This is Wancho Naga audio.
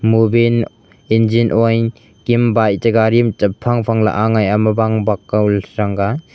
movin injing oil kam bike cha gari ma champha champha la aaya ma ba kan senga.